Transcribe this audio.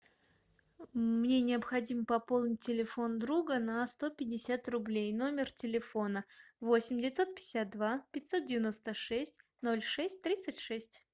мне необходимо пополнить телефон друга на сто пятьдесят рублей номер телефона восемь девятьсот пятьдесят два пятьсот девяносто шесть ноль шесть тридцать шесть